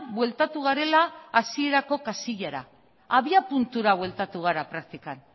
bueltatu garela hasierako kasilara abiapuntura bueltatu gara praktikan